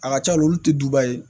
A ka ca la olu tɛ duba ye